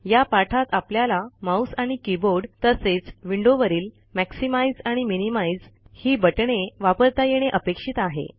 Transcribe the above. या पाठात आपल्याला माऊस आणि कीबोर्ड तसेच विंडोवरील मॅक्सिमाइझ आणि मिनिमाइझ ही बटणे वापरता येणे अपेक्षित आहे